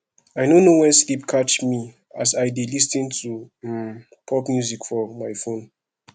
i no know wen sleep catch me as i dey lis ten to um pop song for my phone